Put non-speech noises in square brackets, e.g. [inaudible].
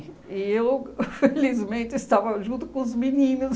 E eu, [laughs] felizmente, estava junto com os meninos.